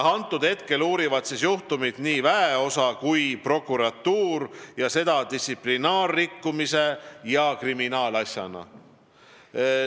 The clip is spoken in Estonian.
Praegu uurivad juhtumit nii väeosa kui prokuratuur, ja seda distsiplinaarrikkumise ja kriminaalasjana.